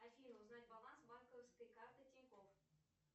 афина узнать баланс банковской карты тинькофф